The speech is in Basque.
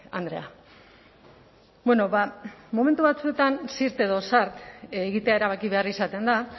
andrea bueno ba momentu batzuetan zirt edo zart egitea erabaki behar izaten da